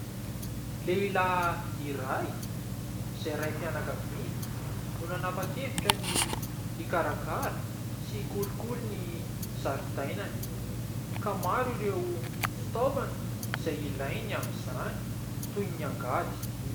Lehilahy iray izay raim-pianakaviana no nanapa-kevitra ny ikarakara sy ikolokolo ny zaridainany ka maro ireo fitaovana izay ilainy amin'izany toy ny angady.